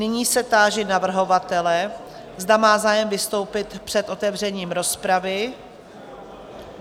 Nyní se táži navrhovatele, zda má zájem vystoupit před otevřením rozpravy?